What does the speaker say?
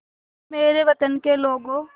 ऐ मेरे वतन के लोगों